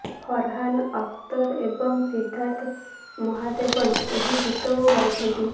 ଫରହାନ୍ ଅଖତର ଏବଂ ସିଦ୍ଧାର୍ଥ ମହାଦେବନ ଏହି ଗୀତକୁ ଗାଇଛନ୍ତି